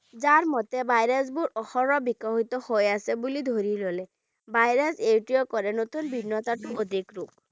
ঝাৰ মতে virus বোৰ অহৰহ বিকশিত হৈ আছে বুলি ধৰি ল'লে virus টোৱে কৰে নতুন বিঘ্নতাটোৰ অধিক ৰোগ